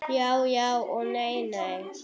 Já já og nei nei.